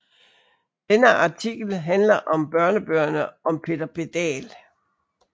Denne artikkel handler om børnebøgerne om Peter Pedal